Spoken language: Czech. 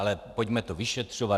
Ale pojďme to vyšetřovat.